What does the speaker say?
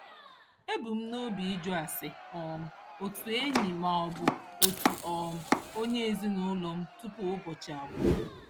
Ebu m n'obi ịjụ ase um otu enyi maọbụ otu um onye ezinụụlọ m tupu ụbọchị agwụ.